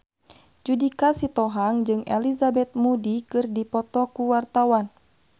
Judika Sitohang jeung Elizabeth Moody keur dipoto ku wartawan